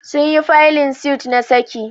Sun yi faylin suit na saki